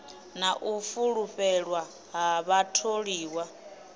na u fulufhelwa ha vhatholiwa